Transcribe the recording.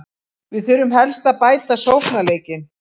Við þurfum helst að bæta sóknarleikinn.